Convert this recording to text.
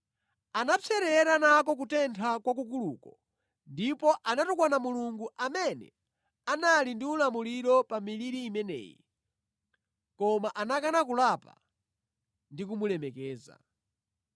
Anapserera nako kutentha kwakukuluko ndipo anatukwana Mulungu, amene anali ndi ulamuliro pa miliri imeneyi, koma anakana kulapa ndi kumulemekeza.